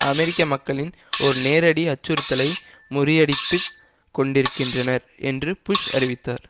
அமெரிக்க மக்களின் ஒரு நேரடி அச்சுறுத்தலை முறியடித்துக் கொண்டிருக்கின்றனர் என்று புஷ் அறிவித்தார்